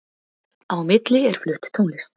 Á milli er flutt tónlist